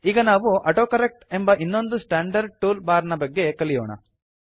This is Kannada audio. ಈಗ ನಾವು ಆಟೋಕರೆಕ್ಟ್ ಎಂಬ ಇನ್ನೊಂದು ಸ್ಟಾಂಡರ್ಡ್ ಟೂಲ್ ಬಾರ್ ನ ಬಗ್ಗೆ ಕಲಿಯೋಣ